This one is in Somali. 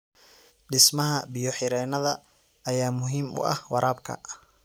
Dhismaha biyo-xireennada ayaa muhiim u ah waraabka.